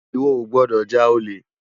Iwò ó gbòdò já ólé